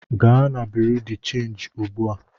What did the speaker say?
Gaa na bụrụnụ de changị ugbu a!